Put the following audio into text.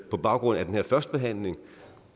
på baggrund af den her førstebehandling